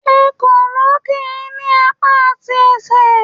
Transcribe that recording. Ekòló kì í ní apá àti ẹsẹ̀